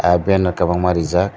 tai ben rok kobangma rijak.